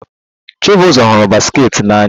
Chibuzor hụrụ basketball n'anya